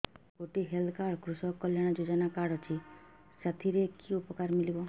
ମୋର ଗୋଟିଏ health card କୃଷକ କଲ୍ୟାଣ ଯୋଜନା କାର୍ଡ ଅଛି ସାଥିରେ କି ଉପକାର ମିଳିବ